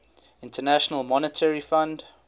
international monetary fund